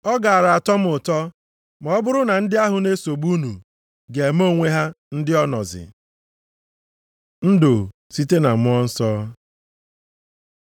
Ọ gaara atọ m ụtọ ma ọ bụrụ na ndị ahụ na-esogbu unu ga-eme onwe ha ndị onozi. Ndụ site na Mmụọ Nsọ